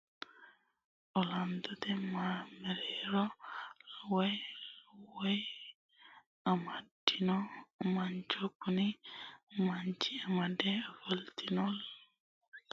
Ollantotte masaarra woyi qawe amadino mancho, kuni manchi amade ofolinotti qawe woyi masaaru keeru qari heeriro keere huntanore garigadhate horonsinanni